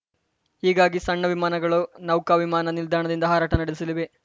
ಹೀಗಾಗಿ ಸಣ್ಣ ವಿಮಾನಗಳು ನೌಕಾ ವಿಮಾನ ನಿಲ್ದಾಣದಿಂದ ಹಾರಾಟ ನಡೆಸಲಿವೆ